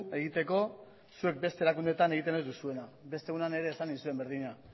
egiteko zuek beste erakundeetan egiten ez duzuena beste egunean ere esan nizuen berdina